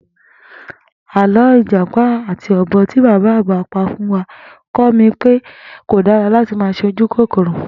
Àló̩ ìjàpá àti o̩bò̩ tí bàbá àgbà pa fún wa kó̩ mi pé kò dára láti máa s̩e ojúkòkòrò